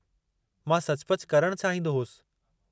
मां सचुपचु करणु चाहींदो होसि।